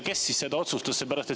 Kes seda otsustas?